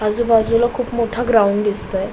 आजूबाजूला खूप मोठ ग्राउंड दिसतय.